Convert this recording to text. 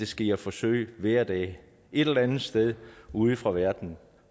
sker forsøg hver dag et eller andet sted ude fra verden